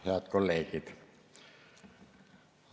Head kolleegid!